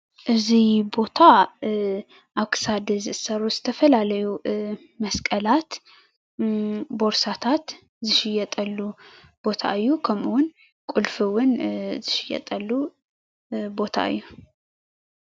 እዚ ቦታ ኣብ ክሳድ ዝእሰሩ ዝተፈላለዩ መስቀላት፣ ቦርሳታት ዝሽየጠሉ ቦታ እዩ። ከምእዉን ቁልፊ እውን ዝሽየጠሉ ቦታ እዩ።